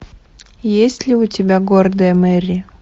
есть ли у тебя гордая мэри